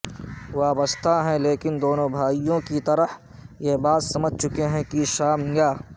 وابستہ ہیں لیکن دونوں بھائیوں کی طرح یہ بات سمجھ چکے ہیں کہ شام یا